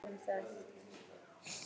Sólbjörn, hvað er klukkan?